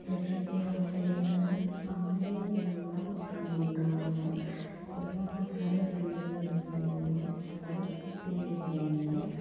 जैसे की हम देख रहे है सामने बहुत बड़ा माकन बन रहा है और वो बहुत सारे बल्लिया लगी पड़ी है। बहुत सारे खिड़कियाँ दिख रहीं है।